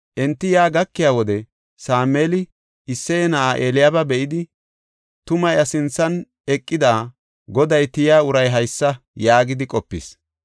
Enti yaa gakiya wode Sameeli Isseye na7aa Eliyaaba be7idi, “Tuma iya sinthan eqida, Goday tiya uray haysa” yaagidi qopis.